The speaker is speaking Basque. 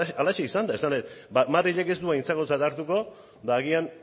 halaxe izan da esan nahi dut madrilek ez du aintzakotzat hartuko eta agian